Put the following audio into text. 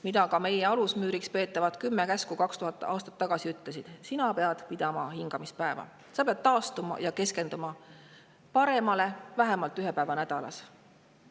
Mida ka meie alusmüüriks peetavad kümme käsku 2000 aastat tagasi ütlesid, oli, et sa pead pidama hingamispäeva, taastuma ja keskenduma paremale vähemalt ühe päeva nädalas.